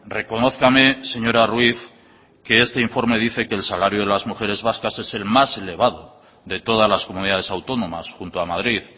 reconózcame señora ruíz que este informe dice que el salario de las mujeres vascas es el más elevado de todas las comunidades autónomas junto a madrid